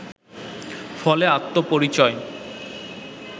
ফলে আত্মপরিচয়